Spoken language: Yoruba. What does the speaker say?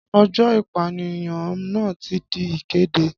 Ọjọ́ ìpànìyàn náà ti di ìkéde.